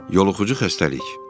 Yoluxucu xəstəlik.